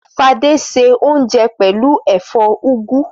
Fadé se oúnjẹ pẹ̀lú ẹ̀fọ́ úgú.